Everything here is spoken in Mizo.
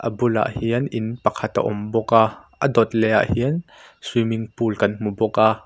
a bulah hian in pakhat a awm bawk a a dawt leh ah hian swimming pool kan hmu bawk a.